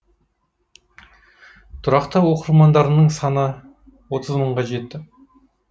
тұрақты оқырмандарының саны отыз мыңға жетті